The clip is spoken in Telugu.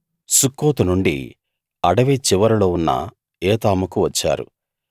సుక్కోతు నుండి అడవి చివరిలో ఉన్న ఏతాముకు వచ్చారు